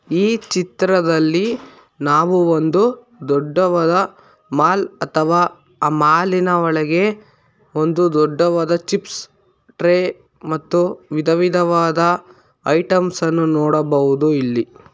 ಈ ಚಿತ್ರದಲ್ಲಿ ನಾವು ಒಂದು ದೊಡ್ಡವದ ಮಾಲ್ ಅಥವಾ ಮಾಲಿನ ಒಳಗೆ ಒಂದು ದೊಡ್ಡವಾದ ಚಿಪ್ಸ್ ಟ್ರೇ ಮತ್ತು ವಿಧವಿಧವಾದ ಐಟೆಮ್ಸನ್ನು ನೋಡಬಹುದು ಇಲ್ಲಿ.